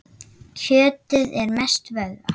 Kjötið er mest vöðvar.